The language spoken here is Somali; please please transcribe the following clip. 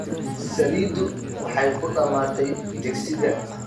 Saliiddu waxay ku dhammaatay digsiga.